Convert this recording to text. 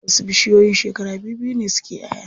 Wasu bishiyoyin shekara bibbiyu ne suke ƴaʼya.